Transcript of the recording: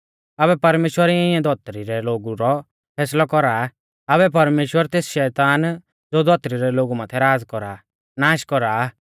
आबै परमेश्‍वर इऐं धौतरी रै लोगु रौ फैसलौ कौरा आ आबै परमेश्‍वर तेस शैतान ज़ो धौतरी रै लोगु माथै राज़ कौरा आ नाश कौरा आ